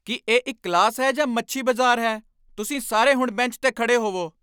ਕੀ ਇਹ ਇੱਕ ਕਲਾਸ ਹੈ ਜਾਂ ਮੱਛੀ ਬਜ਼ਾਰ ਹੈ? ਤੁਸੀਂ ਸਾਰੇ ਹੁਣ ਬੈਂਚ 'ਤੇ ਖੜ੍ਹੇ ਹੋਵੋ!